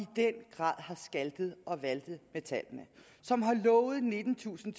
i den grad har skaltet og valtet med tallene som har lovet nittentusind